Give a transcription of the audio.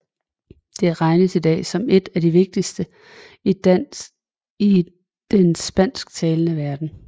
Det regnes i dag som et af de vigtigste i den spansktalende verden